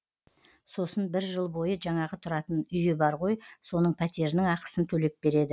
сосын бір жыл бойы жаңағы тұратын үйі бар ғой соның пәтерінің ақысын төлеп береді